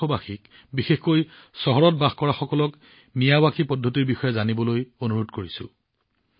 দেশবাসীক বিশেষকৈ চহৰত বসবাস কৰা সকলক মিয়াৱাকিৰ পদ্ধতিৰ বিষয়ে জানিবলৈ চেষ্টা কৰিবলৈ আহ্বান জনাম